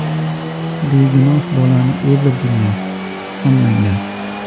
“Begunoh bolani o‘ldirdinglar, hammanglar.